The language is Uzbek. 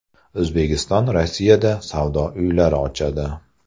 O‘zbekiston Rossiyada savdo uylari ochadi.